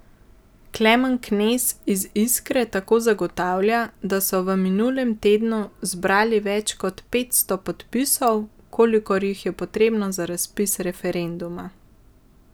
Klemen Knez iz Iskre tako zagotavlja, da so v minulem tednu zbrali več kot petsto podpisov, kolikor jih je potrebnih za razpis referenduma.